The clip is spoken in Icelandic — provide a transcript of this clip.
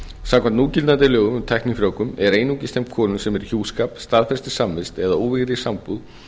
samkvæmt núgildandi lögum um tæknifrjóvgun er einungis þeim konum sem eru í hjúskap staðfestri samvist eða óvígðri sambúð